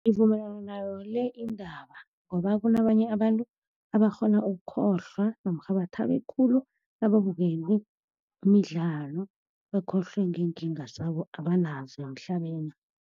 Ngivumelana nayo le indaba, ngoba kunabanye abantu abakghona ukukhohlwa namkha bathabe khulu nababukele imidlalo, bakhohlwe ngeenkinga zabo abanazo la emhlabeni.